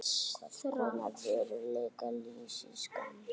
Hvers konar veruleika lýsir skammtafræði?